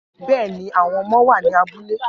Bẹ́ẹ̀ ni, àwọn ọmọ wà ní abúlé